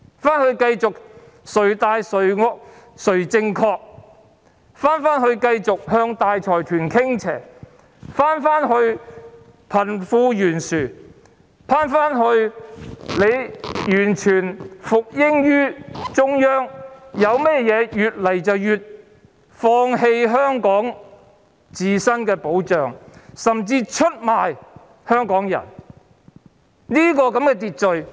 是回到繼續"誰大誰惡誰正確"，政府向大財團傾斜，貧富懸殊嚴重，政府完全服膺於中央，越來越放棄香港自身的保障，甚至出賣香港人的一種秩序。